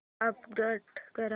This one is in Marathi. अपग्रेड कर